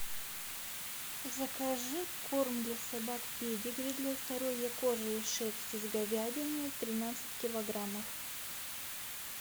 закажи корм для собак педигри для здоровья кожи и шерсти с говядиной тринадцать килограммов